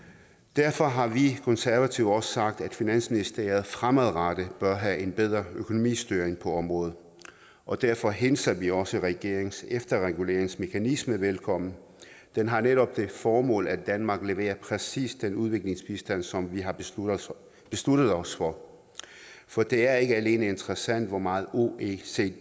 derfor har vi konservative også sagt at finansministeriet fremadrettet bør have en bedre økonomistyring på området og derfor hilser vi også regeringens efterreguleringsmekanisme velkommen den har netop det formål at danmark leverer præcis den udviklingsbistand som vi har besluttet besluttet os for for det er ikke alene interessant hvor meget oecd siger